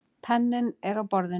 Penninn er á borðinu.